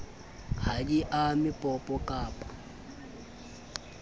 ha di ame popo kappa